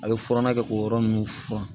A bɛ furanna kɛ k'o yɔrɔ ninnu furan